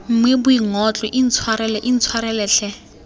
mme boingotlo intshwarele intshwarele tlhe